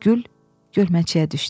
Gül gölməçəyə düşdü.